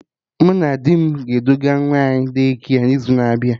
Mụ na di m ga-eduga nwa anyị De-kia n'izu na-abịa